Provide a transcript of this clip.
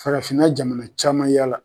Farafinna jamana caman yala.